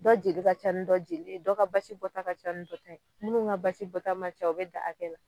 Dɔ jeli ka ca ni dɔ jeli ye dɔ ka basi bɔ ta ka ca ni dɔ ta ye minnu ka basi bɔta man ca o be dan a kɛ la